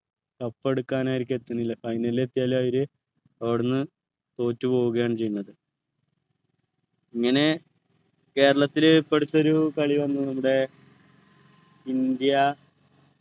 cup എടുക്കാൻ അവരിക്ക് എത്തുന്നില്ല final ലിൽ എത്തിയാൽ അവര് അവിടെന്ന് തോറ്റുപോവുകയാണ് ചെയ്യുന്നത് ഇങ്ങനെ കേരളത്തിലെ ഇപ്പൊ അടുത്തൊരു കളി വന്നു നമ്മുടെ ഇന്ത്യ